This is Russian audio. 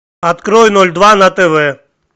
открой ноль два на тв